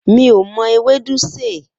Mi ò mo̩ ewédú sè